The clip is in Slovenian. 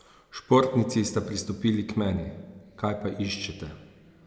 Športnici sta pristopili k meni: "Kaj pa iščete?